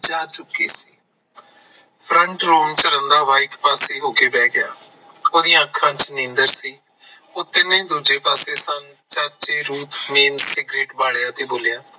ਜਾ ਚੁੱਕੀ ਸੀ FRONT ROOM ਚ ਰੰਧਾਵਾ ਇੱਕ ਪਾਸੇ ਹੋ ਕੇ ਬੈ ਗਿਆ ਉਹਦੀ ਆਂ ਅੱਖਾਂ ਚ ਨੀਂਦਰ ਸੀ ਉਹ ਤਿਨੇਂ ਹੀ ਦੂਜੇ ਪਾਸੇ ਸਨ ਚਾਚੇ ਰੂਪ ਸਿਗਰੇਟ ਬਾਲਿਆ ਤੇ ਬੋਲਿਆ